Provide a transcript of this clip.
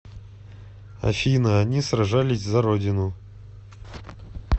афина они сражались за родину